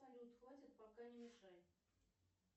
салют хватит пока не мешай